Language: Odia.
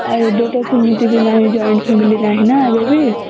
ଆଉ ଏବେତ ସୀମିତି ବି ନାହିଁ joint family ନାହିଁ ନା ଏବେତ